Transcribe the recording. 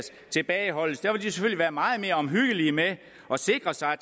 tilbageholdes være meget mere omhyggelige med at sikre sig at